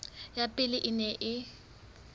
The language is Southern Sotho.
ya pele e neng e